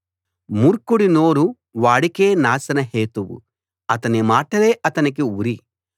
మూర్ఖుడి నోరు వాడికే నాశన హేతువు అతని మాటలే అతనికి ఉరి